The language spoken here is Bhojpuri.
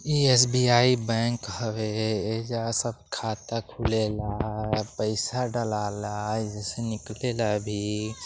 इ एस बी आई बैंक हवे। ए जा सब खाता खुलेला। पैसा डालाला। यहजा से निकले ला भी।